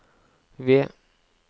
ved